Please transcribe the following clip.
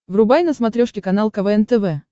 врубай на смотрешке канал квн тв